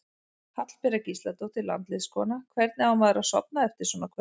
Hallbera Gísladóttir landsliðskona: Hvernig á maður að sofna eftir svona kvöld?